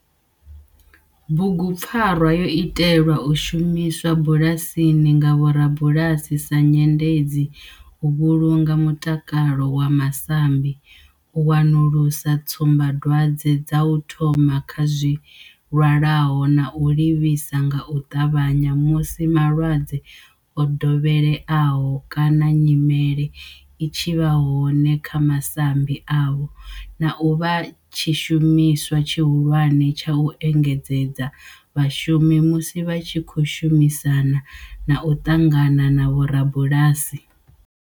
Bugupfarwa yo itelwa u shumiswa bulasini nga vhorabulasi sa nyendedzi u vhulunga mutakalo wa masambi, u wanulusa tsumbadwadzwe dza u thoma kha zwilwalaho na u livhisa nga u tavhanya musi malwadze o dovheleaho kana nyimele i tshi vha hone kha masambi avho, na u vha tshishumiswa tshihulwane tsha u engedzedza vhashumi musi vha tshi khou shumisana na u ṱangana na vhorabulasi.